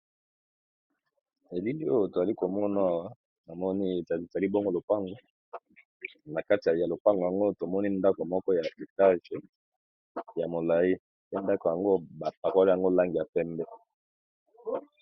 Elili oyo toali komonaa namoni etalisa libongo lopango na kati ya lopango yango tomoni ndako moko ya akictage ya molai pe ndako yango bapakolo yango langi ya pembe.